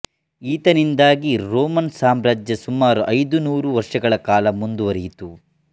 ಈತನಿಂದಾಗಿ Roman ಸಾಮ್ರಾಜ್ಯ ಸುಮಾರು ಐದುನೂರು ವರ್ಷಗಳ ಕಾಲ ಮುಂದುವರಿಯಿತು